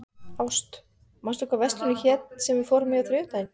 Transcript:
Ást, manstu hvað verslunin hét sem við fórum í á þriðjudaginn?